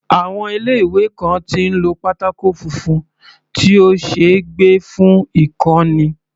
Àwọn ilé ìwé kan tí ń lo pátákó funfun tí ó ṣeé gbé fún ìkọ́ni.